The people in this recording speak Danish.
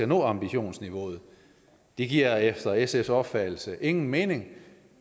nå ambitionsniveauet det giver efter sfs opfattelse ingen mening